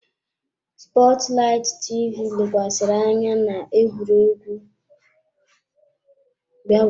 Sports light TV lekwasịrị anya na egwuregwu.